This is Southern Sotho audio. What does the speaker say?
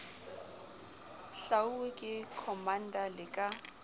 hlwauwe ke commander le ka